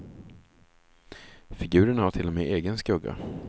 Figurerna har till och med egen skugga.